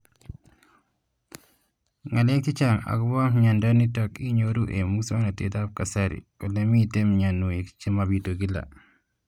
Ng'alek chechang' akopo miondo nitok inyoru eng' muswog'natet ab kasari ole mito mianwek che mapitu kila